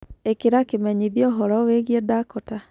ĩkĩra kimenyithia ũhoro wĩĩgĩe dakota